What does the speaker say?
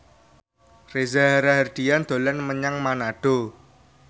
Reza Rahardian dolan menyang Manado